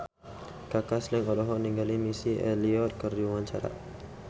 Kaka Slank olohok ningali Missy Elliott keur diwawancara